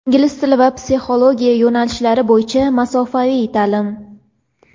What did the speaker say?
Ingliz tili va psixologiya yo‘nalishlari bo‘yicha masofaviy ta’lim!.